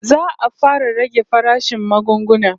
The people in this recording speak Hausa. Za'a fara rage farashin magunguna